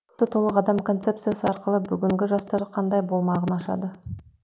толық адам концепциясы арқылы бүгінгі жастар қандай болмағын ашады